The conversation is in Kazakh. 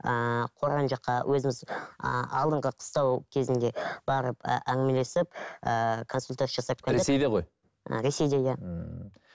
ыыы қорған жаққа өзіміз ыыы алдыңғы қыстау кезінде барып әңгімелесіп ііі консультация жасап келдік ресейде ғой ресейде иә мхм